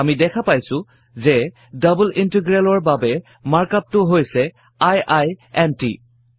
আমি দেখা পাইছো যে ডাবল ইন্টিগ্ৰেলৰ বাবে মাৰ্ক up টো হৈছে আইইএনটি